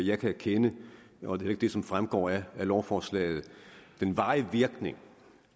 jeg kan genkende og det er ikke det som fremgår af lovforslaget den varige virkning